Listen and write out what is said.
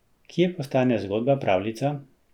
Kje postane zgodba pravljica?